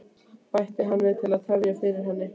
bætti hann við til að tefja fyrir henni.